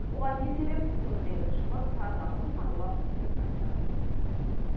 оған не себеп өңірдегі тілшіміз ардақ асылханұлы біліп қайтты